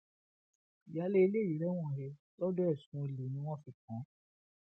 ìyáálé ilé yìí rẹwọn he lọdọ ẹsùn olè ni wọn fi kàn án